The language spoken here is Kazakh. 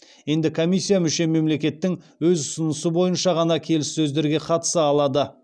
енді комиссия мүше мемлекеттің өз ұсынысы бойынша ғана келіссөздерге қатыса алады